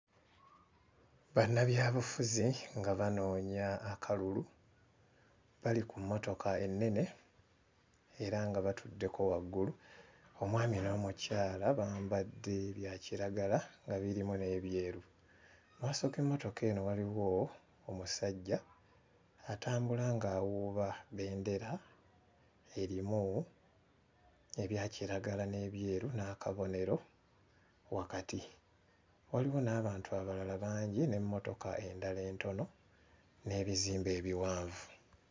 Bannabyabufuzi nga banoonya akalulu. Bali ku mmotoka ennene era nga batuddeko waggulu, omwami n'omukyala bambadde bya kiragala, nga birimu n'ebyeru. Mmaaso g'emmotoka eno waliyo omusajja atambula ng'awuuba bendera erimu ebya kiragala n'ebyeru n'akabonero wakati. Waliwo n'abantu abalala bangi n'emmotoka endala entono n'ebizimbe ebiwanvu.